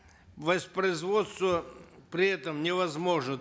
воспроизводство при этом невозможно